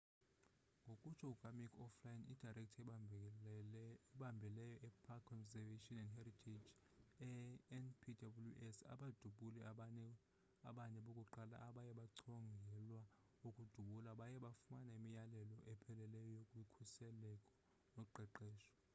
ngokutsho kukamick o'flynn idirector ebambeleyo epark conservation and heritage enpws abadubuli abane bokuqala abaye bachongelwa ukudubula baye bafumana imiyalelo epheleleyo yezokhuseleko noqeqesho